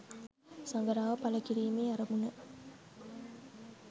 සඟරාව ඵල කිරීමේ අරමුණ